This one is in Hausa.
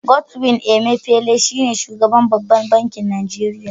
Godwin Emefele shi ne Shugaban babban bankin Nigeria.